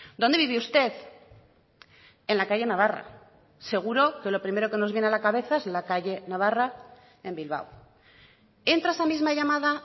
dónde vive usted en la calle navarra seguro que lo primero que nos viene a la cabeza es la calle navarra en bilbao entra esa misma llamada